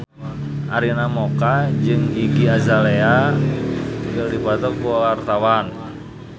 Arina Mocca jeung Iggy Azalea keur dipoto ku wartawan